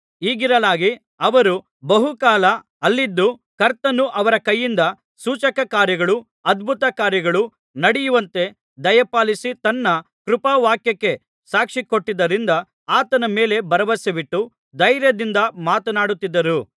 ಹೀಗಿರಲಾಗಿ ಅವರು ಬಹುಕಾಲ ಅಲ್ಲಿದ್ದು ಕರ್ತನು ಅವರ ಕೈಯಿಂದ ಸೂಚಕಕಾರ್ಯಗಳೂ ಅದ್ಭುತಕಾರ್ಯಗಳೂ ನಡೆಯುವಂತೆ ದಯಪಾಲಿಸಿ ತನ್ನ ಕೃಪಾವಾಕ್ಯಕ್ಕೆ ಸಾಕ್ಷಿಕೊಟ್ಟಿದ್ದರಿಂದ ಆತನ ಮೇಲೆ ಭರವಸವಿಟ್ಟು ಧೈರ್ಯದಿಂದ ಮಾತನಾಡುತ್ತಿದ್ದರು